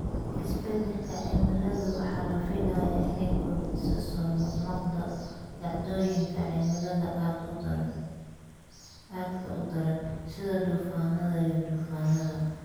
Isbeddelka cimiladu waxa la filayaa inay kordhiso soo noqnoqda dhacdooyinka cimilada aadka u daran, sida duufaannada iyo duufaannada.